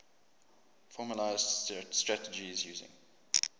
formalised strategies using